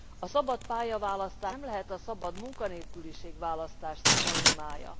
A szabad pályaválasztás nem lehet a szabad munkanélküliség választás szinonimája.